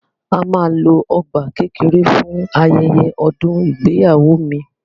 A máa lo ọgbà kékeré fún ayẹyẹ ọdún ìgbéyàwó mi.